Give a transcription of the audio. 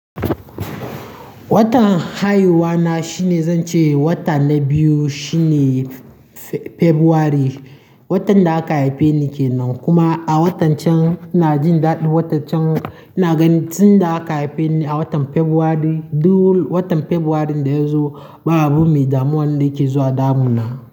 Watan haihuwa na shine, zan ce wata na biyu shine Fe-Februari, watan da aka haife ni ke nan. Kuma a watan can ina jin daɗi, watan can ina ganin tun da aka haife ni a watan Febware, duk watan Febware da ya zo ba a bu mi damuwa da ke zuwa damuna.